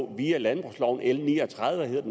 via landbrugsloven l ni og tredive hed